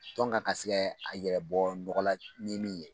Tɔn kan ka se kɛ a yɛrɛbɔ nɔgɔla ni min ye.